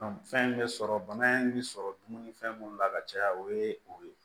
fɛn bɛ sɔrɔ bana in bɛ sɔrɔ dumuni fɛn minnu la ka caya o ye o ye